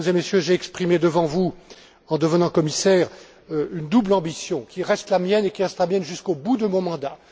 Voilà, Mesdames et Messieurs, j'ai exprimé devant vous en devenant commissaire, une double ambition, qui reste la mienne, et qui reste la mienne jusqu'au bout de mon mandat.